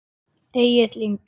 Egill Ingi.